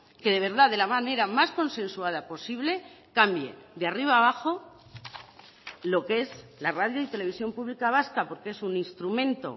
que de verdad de la manera más consensuada posible cambie de arriba a abajo lo que es la radio y televisión pública vasca porque es un instrumento